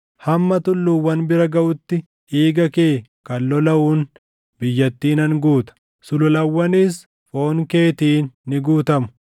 Hamma tulluuwwan bira gaʼutti dhiiga kee kan lolaʼuun biyyattii nan guuta; sululawwanis foon keetiin ni guutamu.